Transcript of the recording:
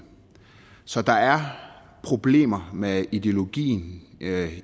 så der er problemer med ideologien